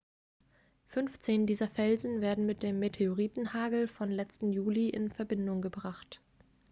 15 dieser felsen werden mit dem meteoritenhagel vom letzten juli in verbindung gebracht